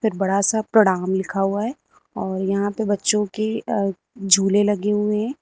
बड़ा सा प्रणाम लिखा हुआ है और यहां पे बच्चों की अह झूले लगे हुए हैं।